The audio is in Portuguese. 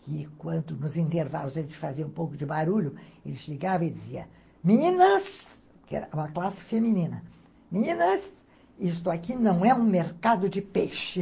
que quando nos intervalos a gente fazia um pouco de barulho, ele chegava e dizia, meninas, que era uma classe feminina, meninas, isto aqui não é um mercado de peixe.